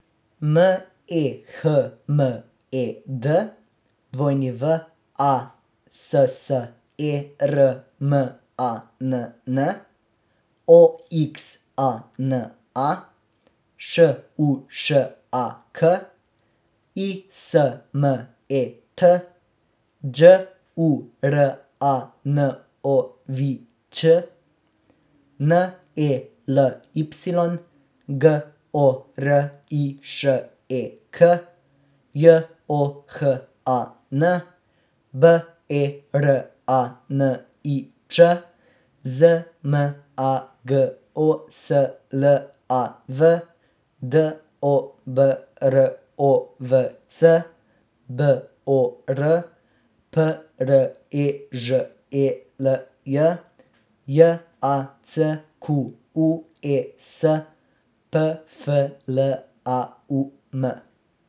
M E H M E D, W A S S E R M A N N; O X A N A, Š U Š A K; I S M E T, Đ U R A N O V I Ć; N E L Y, G O R I Š E K; J O H A N, B E R A N I Č; Z M A G O S L A V, D O B R O V C; B O R, P R E Ž E L J; J A C Q U E S, P F L A U M.